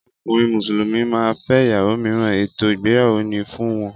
Ọkùnrin Musulumi máa fẹ ìyàwó míràn, ètò ìgbéyàwó ni fún wọn